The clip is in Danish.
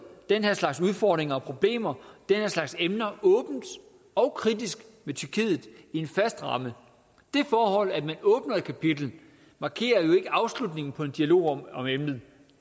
den her slags udfordringer og problemer den her slags emner åbent og kritisk med tyrkiet i en fast ramme det forhold at man åbner et kapitel markerer jo ikke afslutningen på en dialog om om emnet